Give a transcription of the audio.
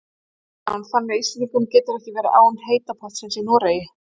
Kristján: Þannig Íslendingurinn getur ekki verið án heita pottsins í Noregi?